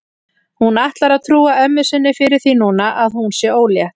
Hún ætlar að trúa ömmu sinni fyrir því núna að hún sé ólétt.